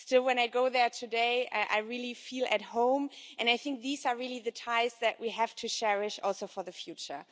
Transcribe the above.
Still, when I go there today, I really feel at home, and I think these are really the ties that we have to cherish also for the future.